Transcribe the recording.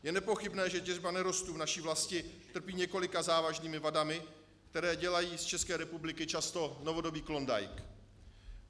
Je nepochybné, že těžba nerostů v naší vlasti trpí několika závažnými vadami, které dělají z České republiky často novodobý Klondajk.